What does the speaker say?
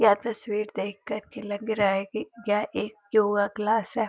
यह तस्वीर देख कर के लग रहा है कि यह एक योगा क्लास है।